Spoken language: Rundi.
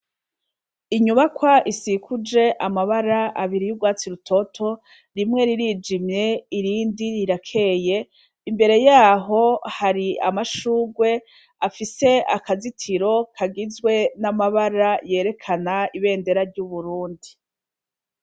Inyubakwa isikuje amabara abiri y'urwatsi rutoto rimwe ririjimye irindi rirakeye, imbere yaho hari amashurwe afise akazitiro kagizwe n'amabara yerekana ibendera ry'uburundi.